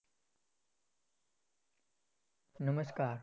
નમસ્કાર!